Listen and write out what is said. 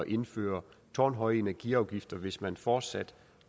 indføre tårnhøje energiafgifter hvis man fortsat